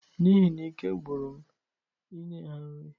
N'ihi na ike gwụrụ m inye ha nri